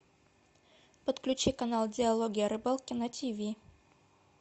подключи канал диалоги о рыбалке на тв